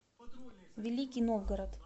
великий новгород